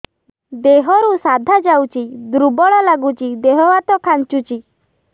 ଦେହରୁ ସାଧା ଯାଉଚି ଦୁର୍ବଳ ଲାଗୁଚି ଦେହ ହାତ ଖାନ୍ଚୁଚି